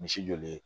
Misi joli